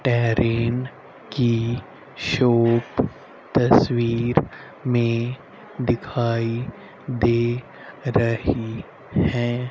तैरीन की शॉप तस्वीर में दिखाई दे रही है।